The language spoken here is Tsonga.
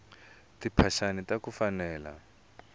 timphaxani taku fanela